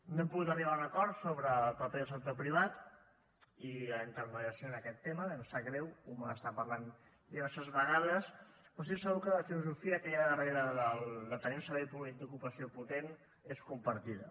no hem pogut arribar a un acord sobre el paper del sector privat i la intermediació en aquest tema i em sap greu ho vam estar parlant diverses vegades però estic segur que la filosofia que hi ha darrere de tenir un servei públic d’ocupació potent és compartida